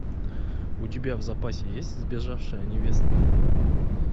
у тебя в запасе есть сбежавшая невеста